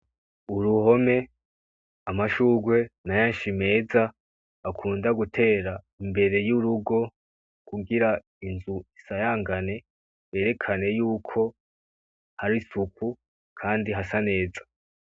Uruhome amashugwe menshi meza, bakunda gutera imbere y'urugo kugira inzu isarangane vyerakane yuko hari isuku, kandi hasa neza.